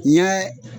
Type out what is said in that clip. N y'a